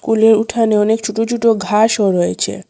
স্কুলের উঠানে অনেক ছোট ছোট ঘাসও রয়েছে।